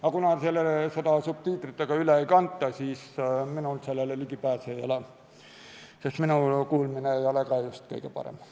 Aga kuna seda subtiitritega üle ei kanta, siis minul sellele ligipääsu ei ole, sest minu kuulmine ei ole just kõige parem.